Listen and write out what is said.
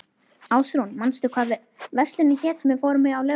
Ásrún, manstu hvað verslunin hét sem við fórum í á laugardaginn?